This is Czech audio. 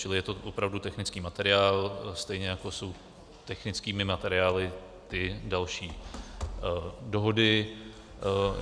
Čili je to opravdu technický materiál, stejně jako jsou technickými materiály i další dohody.